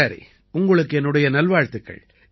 சரி உங்களுக்கு என்னுடைய நல்வாழ்த்துக்கள்